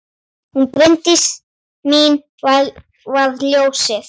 Hún Bryndís mín var ljósið.